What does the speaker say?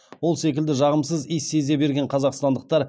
ол секілді жағымсыз иіс сезе берген қазақстандықтар